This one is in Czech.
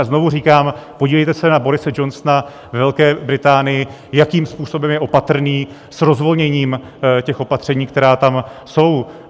A znovu říkám, podívejte se na Borise Johnsona ve Velké Británii, jakým způsobem je opatrný s rozvolněním těch opatření, která tam jsou.